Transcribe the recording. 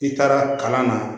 I taara kalan na